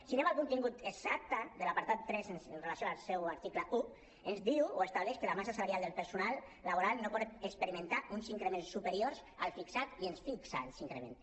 si anem al contingut exacte de l’apartat tres amb relació al seu article un ens diu o estableix que la massa salarial del personal laboral no pot experimentar uns increments superiors al fixat i ens fixa els increments